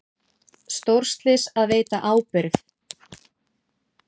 Stórslys að veita ábyrgð